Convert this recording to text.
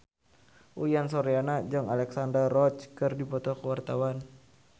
Uyan Suryana jeung Alexandra Roach keur dipoto ku wartawan